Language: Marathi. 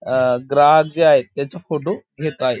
अ ग्राहक जे आहेत त्याचा फोटो घेत आहे.